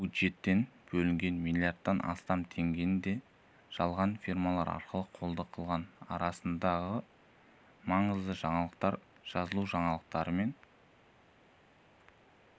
бюджеттен бөлінген миллиардтан астам теңгені де жалған фирмалар арқылы қолды қылған арнасындағы маңызды жаңалықтар жазылужаңалықтармен